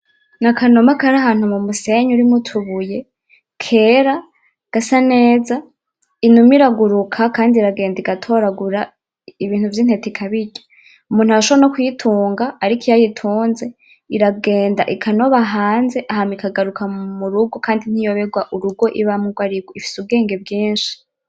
N'akanuma karahantu mumusenyi urimwo utubuye, kera, gasa neza, Inuma iraguruka kandi iragenda igatoragura ibintu vy'intete ikabirya, Umuntu arashobora no kuyitunga ariko iyo ayitunze, iragenda ikanoba hanze hama ikagaruka murugo kandi ntiyobegwa urugo ibamwo ugwarigo, ifise ubwenge bwinshi.